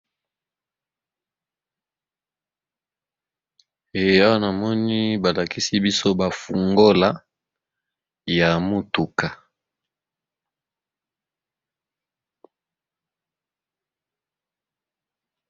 Eyanamoni balakisi biso bafungola ya motuka.